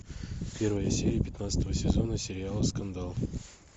первая серия пятнадцатого сезона сериала скандал